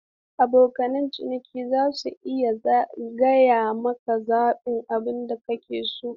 Abokan ciniki za su iya zagaya su zaɓi abin da suke so.